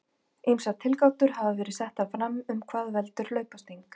Ýmsar tilgátur hafa verið settar fram um hvað veldur hlaupasting.